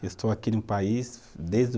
Eu estou aqui no país desde